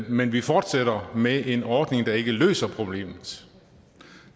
men vi fortsætter med en ordning der ikke løser problemet